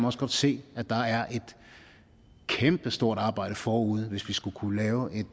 også godt se at der er et kæmpestort arbejde forude hvis vi skal kunne lave et